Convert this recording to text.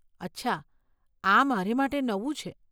અચ્છા, આ મારે માટે નવું છે.